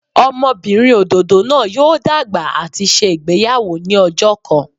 Ọmọbinrin ododo naa yoo dagba ati ṣe igbeyawo ni ọjọ kan.